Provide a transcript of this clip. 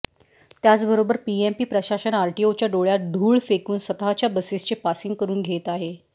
त्याचबरोबर पीएमपी प्रशासन आरटीओच्या डोळ्यात धूळ फेकून स्वतःच्या बसेसचे पासिंग करून घेत आहे